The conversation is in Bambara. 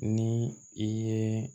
Ni i ye